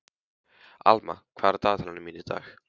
Alma, hvað er á dagatalinu mínu í dag?